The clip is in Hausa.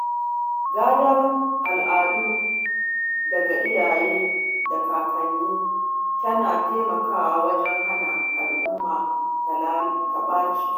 Gadar al’adu daga iyaye da kankanni yana taimakawa wajen hana al’umma ta ɓace